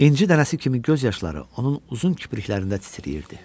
İnci dənəsi kimi göz yaşları onun uzun kipriklərində titrəyirdi.